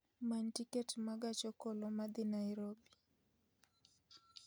many tiket ma gach okoloma dhi nairobi